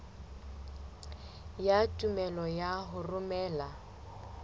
ya tumello ya ho romela